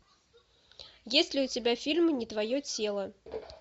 есть ли у тебя фильм не твое тело